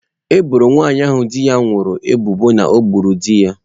Eboro nwanyị ahụ di ya nwụrụ ebubo na o gburu di ya.